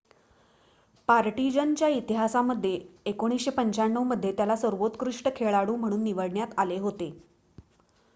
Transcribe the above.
partisan च्या इतिहासामध्ये 1995 मध्ये त्याला सर्वोत्कृष्ट खेळाडू म्हणून निवडण्यात आले होते